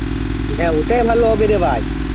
হেঁ ওটাই লব্বিরে রে ভাই